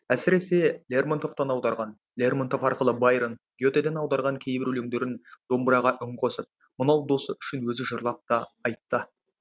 әсіресе лермонтовтан аударған лермонтов арқылы байрон гетеден аударған кейбір өлеңдерін домбыраға үн қосып мынау досы үшін өзі жырлап та айтты